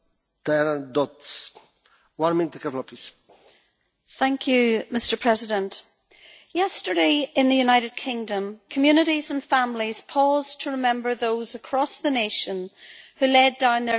Mr President, yesterday, in the United Kingdom, communities and families paused to remember those across the nation who had laid down their lives in defence of freedom.